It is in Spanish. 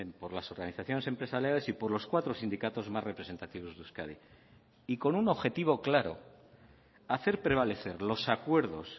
por las organizaciones empresariales y por los cuatro sindicatos más representativos de euskadi y con un objetivo claro hacer prevalecer los acuerdos